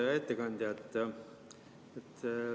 Hea ettekandja!